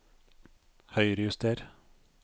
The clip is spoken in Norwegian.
Høyrejuster